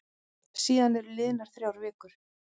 Síðan eru liðnar þrjár vikur.